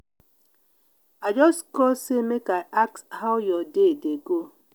i just call sey make i ask how your day dey go.